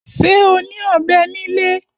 Ṣé o ní ọ̀bẹ nílé?